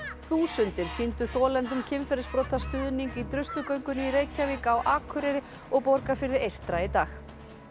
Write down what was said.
þúsundir sýndu þolendum kynferðisbrota stuðning í Druslugöngu í Reykjavík á Akureyri og Borgarfirði eystra í dag